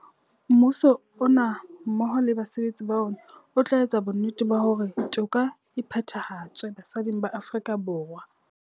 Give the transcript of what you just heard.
Mmuso ona mmoho le basebetsi ba ona o tla etsa bonnete ba hore toka e phethahatswe basading ba Aforika Borwa.